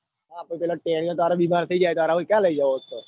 તારે હવે ક્યાંજાય લઇ જવો જ છે